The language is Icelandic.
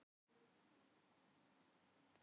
Það var allt í einu orðið svo kalt.